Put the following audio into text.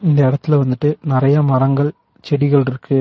இந்த எடத்துல வந்துட்டு நறைய மரங்கள் செடிகள்ருக்கு.